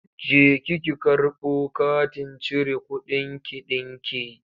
Jeki ki karbo katin cire kuɗinki ɗinki!